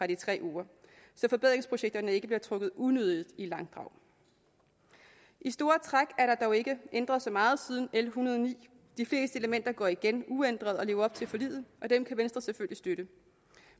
de tre uger så forbedringsprojekterne ikke bliver trukket unødigt i langdrag i store træk er der dog ikke ændret så meget siden l en hundrede og ni de fleste elementer går igen uændret og lever op til forliget og dem kan venstre selvfølgelig støtte